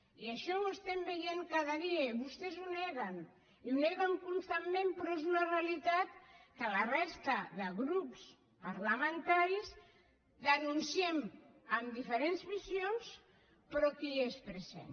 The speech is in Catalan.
i això ho estem veient cada dia i vostès ho neguen i ho neguen constantment però és una realitat que la resta de grups parlamentaris denunciem amb diferents visions però que hi és present